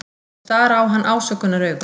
Þau stara á hann ásökunaraugum.